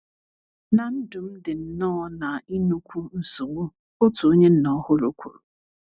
na ndụm di nnọọ na inukwu nsogbu, otu onye nna ọhuru kwuru